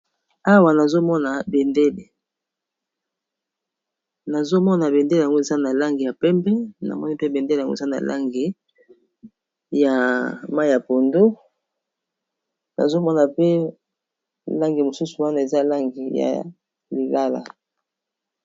awa nazomonabendele ngo eza na lange ya pembe na moni mpe bendele yango eza na langi ya mai ya pondo nazomona mpe langi mosusu wana eza langi ya lilala